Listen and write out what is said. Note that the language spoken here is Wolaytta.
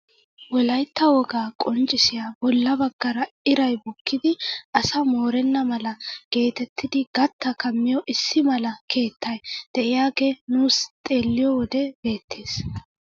Wolaytta wogaa qonccisiyaa bolla baggaara iray bukkidi asaa moorenna mala getettidi gattaa kammiyoo issi mala keettay de'iyaagee nuusi xeelliyoo wode beettees!